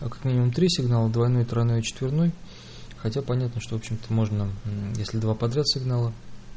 три сигнала двойной тройной четверной хотя понятно что общем то можно если два подряд сигнала